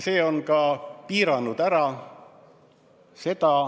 See on seda ka piiranud.